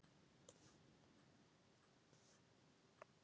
En hvert skyldi svo leyndarmálið vera?